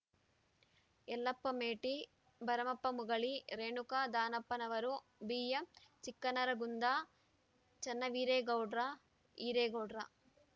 Yellappa Meti Baramappa Mugali Renuka Danappanavar BM Chikkanaragund Channaveeragoudar Hiregoudra